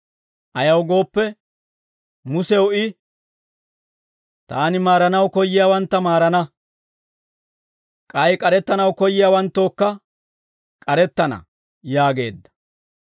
Ayaw gooppe, Musew I, «Taani maaranaw koyyiyaawantta maarana; k'ay k'arettanaw koyyiyaawanttookka k'arettana» yaageedda.